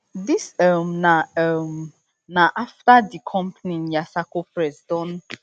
dis um na um na afta di company yasarko press don